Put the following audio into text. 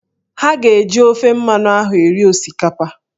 Ha ga-eji ofe mmanụ ahụ eri osikapa